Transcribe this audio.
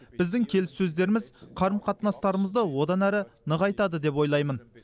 біздің келіссөздеріміз қарым қатынастарымызды одан әрі нығайтады деп ойлаймын